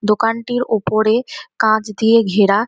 দোকানটির ওপরে কাঁচ দিয়ে ঘেরা